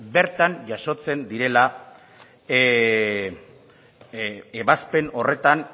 bertan jasotzen direla ebazpen horretan